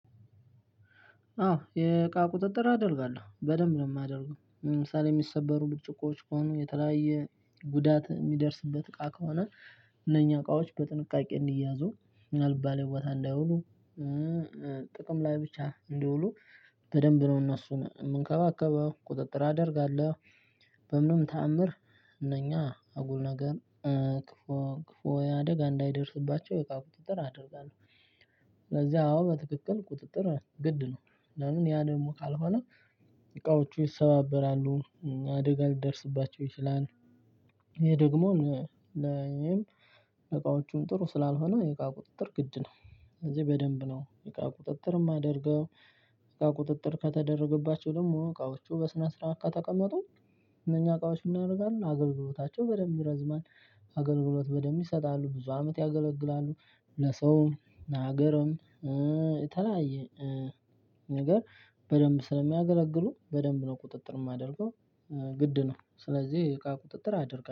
አው የእቃ ቁጥጥር አደርጋለው በደንብ ነው ማደርገው ለምሳሌ የሚሰበሩ ብርጭቆዎች ከወኑ የተለያየ ጉዳት ሚደርስበት እቃ ከወነ እነኛ እቃዎች በጥንቃቄ እንዲያዙ ምናልባት አልባሌ ቦታ እንዳይውሉ ጥቅም ላይ ብቻ እንዲውሉ በደንብ ነው እነሱን የምንከባከበው ቁጥጥር አደርጋለሁ። በምንም ተአምር እነኛ አጉል ነገር ክፉ ክፉ ያደጋ እንዳይደርስባቸው የእቃ ቁጥጥር አደርጋለሁ። ስለዚህ አዎ በትክክል ቁጥጥር ግድ ነው። ለምን ያ ደግሞ ካልሆነ እቃዎቹ ይሰባበራሉ። አደጋ ሊደርስባቸው ይችላል። ይሄ ደግሞ ለእኔም እቃዎቹን ጥሩ ስላልሆነ የእቃ ቁጥጥር ግድ ነው። እዚህ በደንብ ነው የእቃ ቁጥጥር የማደርገው። የእቃ ቁጥጥር ከተደረገባቸው ደግሞ እቃዎቹ በስነ ስርዓት ከተቀመጡ? እነኛ እቃዎች ምን ያደርጋሉ አገልግሎታቸው በደንብ ይረዝማል። አገልግሎት በደንብ ይሰጣሉ ብዙ አመት ያገለግላሉ። ለሰውም ለሀገርም የተለያየ ነገር በደንብ ስለሚያገለግሉ በደንብ ነው ቁጥጥር የማደርገው። ግድ ነው ስለዚህ እቃ ቁጥጥር አድርጋለሁ